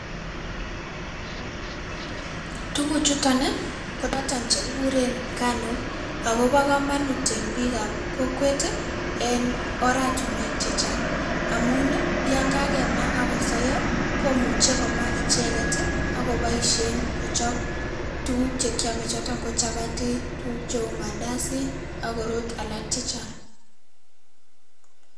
tuguchuton ii kochoton chekikuren nganuk ako bo komonut en biikap kokwet en oratinwek chechang amun ii yoon kakemaa akosoyo komuche komaa icheget ako boishen icheget kochop tuguk che kiome choton ko chapati tuguk cheuu mandazi ak korot alak chechang